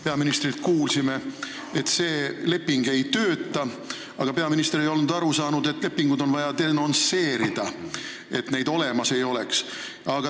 Peaministrilt kuulsime, et see leping ei tööta, aga peaminister ei ole aru saanud, et lepinguid on vaja denonsseerida, et neid olemas ei oleks.